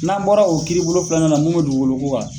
N'an bɔra o kiribolo filanan na mun bɛ dugukolo ko kan.